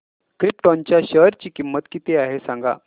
krypton च्या share ची किंमत किती आहे हे सांगा